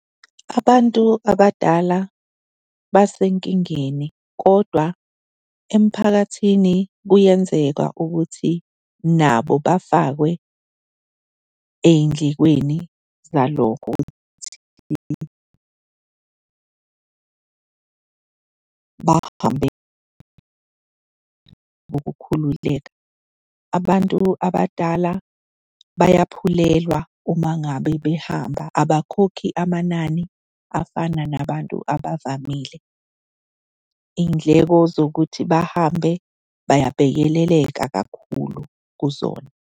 Abantu abadala basenkingeni kodwa emphakathini kuyenzeka ukuthi nabo bafakwe ey'ndlekweni zalokhu futhi bahambe ngokukhululeka. Abantu abadala bayaphulelwa uma ngabe behamba abakhokhi amanani afana nabantu abavamile. Iy'ndleko zokuthi bahambe bayabhekeleleka kakhulu kuzona.